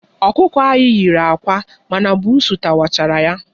Ọkụkọ anyị nyere àkwá ma na buusu tawachara ya.